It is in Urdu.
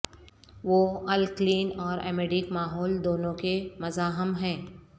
وہ الکلین اور امیڈک ماحول دونوں کے مزاحم ہیں